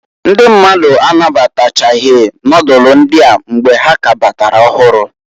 Ndị mmadụ anabatachaghị nodulu ndịa mgbe ha k'kabatara ọhụrụ.